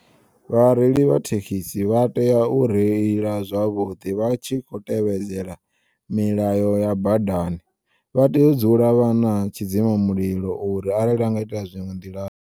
Vha reili vha thekisi vha tea u reila zwavhuḓi vha tshi kho tevhedzela milayo ya badani vha tea u dzula vhana tshidzima mulilo uri arali hanga iteya zwiṅwe nḓilani.